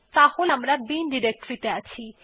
তাহলে আমরা এখন বিন ডিরেক্টরী ত়ে আছি